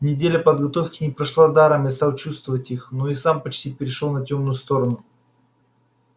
неделя подготовки не прошла даром я стал чувствовать их но и сам почти перешёл на тёмную сторону